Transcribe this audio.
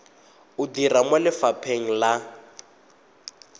o dira mo lefapheng la